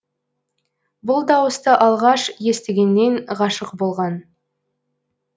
бұл дауысты алғаш естігеннен ғашық болған